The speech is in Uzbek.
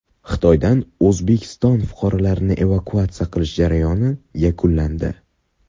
Xitoydan O‘zbekiston fuqarolarini evakuatsiya qilish jarayoni yakunlandi.